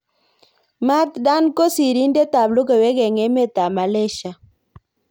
Mat Dan ko sirindet ab logoiwek eng emet ab Malaysia.